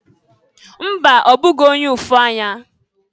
Mba! Ọ bụghị onye ụfụ anya.